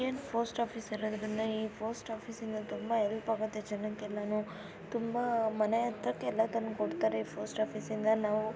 post office ಇರೋದ್ರಿಂದ ಈ post ಆಫೀಸ್ಇಂದ ತುಂಬಾ ಹೆಲ್ಪ್ ಆಗತ್ತೆ ಜನಕ್ಕೆಲ್ಲನು ತುಂಬಾ ಮನೆ ಹತ್ರಕ್ಕೆ ಯಲ್ಲ ತಂದ್ಕೊಡ್ತಾರೆ ಪೋಸ್ಟ್ ಆಫೀಸ್ಇಂದ ನಾವು --